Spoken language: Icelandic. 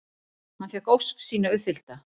Hann fékk ósk sína uppfyllta.